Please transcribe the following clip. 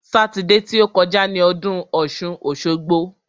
Sátidé ti ó kọjá ni ọdún ọ̀ṣun-òṣogbo.